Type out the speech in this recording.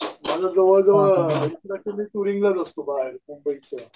मला जवळजवळ मंबईच्या